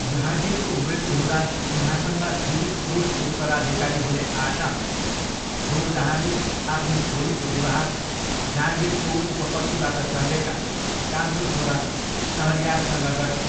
जहाँगिरको मृत्यु हुँदा सिंहासनमा जीवित पुरुष उत्तराधिकारी हुने आशामा नुरजहाँले आफ्नी छोरीको विवाह जहाँगिरको उपपत्नीबाट जन्मेका कान्छो छोरा सहरयारसँग गरिन्।